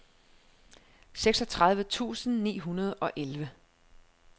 seksogtredive tusind ni hundrede og elleve